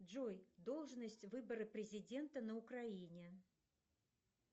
джой должность выбора президента на украине